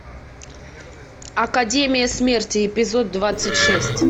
академия смерти эпизод двадцать шесть